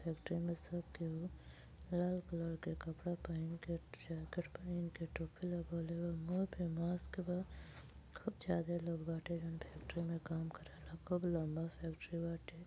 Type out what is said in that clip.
Factory में सब केहु लाल कलर के कपड़ा पहिन के जैकेट पहीन के टोपी लगइले बा। मुँह पे मास्क बा। खूब ज्यादे ही लोग बाटे। जोवन फैक्ट्री में काम करेला। खूब लम्बा फैक्ट्री बाटे।